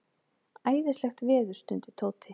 Æðislegt veður stundi Tóti.